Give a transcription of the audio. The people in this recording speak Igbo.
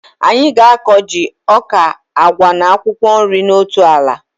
Anyị ga-akọ ji, ọka, agwa na akwụkwọ nri na otu ala